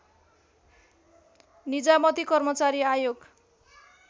निजामती कर्मचारी आयोग